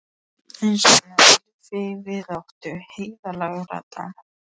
Hver er hún þessi myndarlega dama þarna?